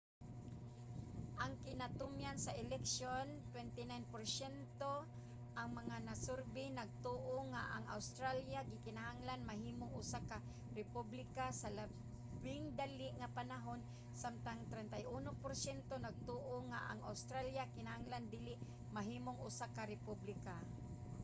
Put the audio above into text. sa kinatumyan sa eleksyon 29 porsyento sa mga nasurbey nagtuo nga ang australia kinahanglan mahimong usa ka republika sa labing dali nga panahon samtang 31 porsyento nagtuo nga ang australia kinahanglan dili mahimong usa ka republika